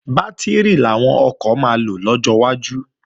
Bátìrì làwọn ọkọ̀ máa lò lọ́jọ́ iwájú